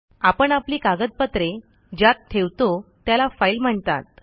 आपण आपली कागदपत्रे ज्यात ठेवतो त्याला फाईल म्हणतात